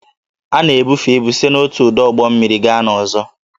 A na-ebufe ibu site n'otu ọdụ ụgbọ mmiri gaa n'ọzọ